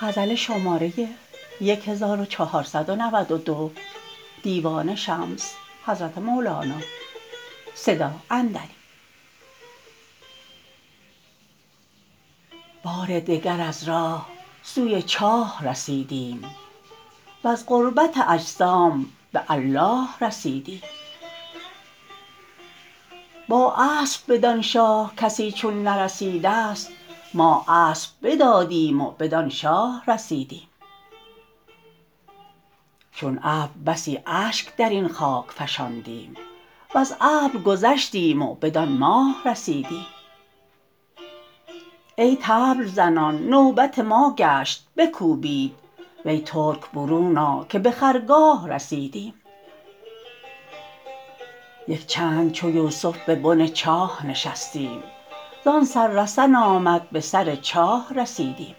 بار دگر از راه سوی چاه رسیدیم وز غربت اجسام بالله رسیدیم با اسب بدان شاه کسی چون نرسیده ست ما اسب بدادیم و بدان شاه رسیدیم چون ابر بسی اشک در این خاک فشاندیم وز ابر گذشتیم و بدان ماه رسیدیم ای طبل زنان نوبت ما گشت بکوبید وی ترک برون آ که به خرگاه رسیدیم یک چند چو یوسف به بن چاه نشستیم زان سر رسن آمد به سر چاه رسیدیم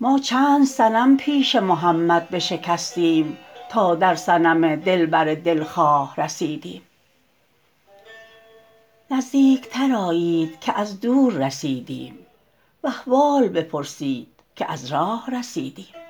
ما چند صنم پیش محمد بشکستیم تا در صنم دلبر دلخواه رسیدیم نزدیکتر آیید که از دور رسیدیم و احوال بپرسید که از راه رسیدیم